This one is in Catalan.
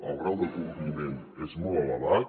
el grau de compliment és molt elevat